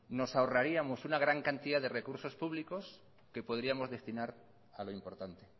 nos ahorraríamos una gran cantidad de recursos públicos que podríamos destinar a lo importante